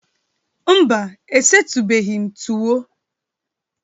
Mba, e setubeghi m tuwo